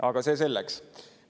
Ent see selleks.